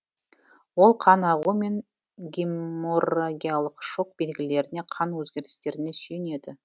ол қан ағу мен геморрагиялық шок белгілеріне қан өзгерістеріне сүйенеді